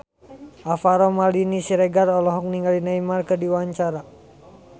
Alvaro Maldini Siregar olohok ningali Neymar keur diwawancara